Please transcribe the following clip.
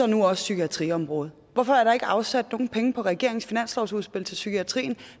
nu også psykiatriområdet hvorfor er der ikke afsat nogen penge på regeringens finanslovsudspil til psykiatrien